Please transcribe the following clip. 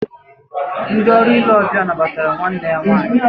Ndị ọrụ ile ọbịa nabatara nwanne ya nwaanyị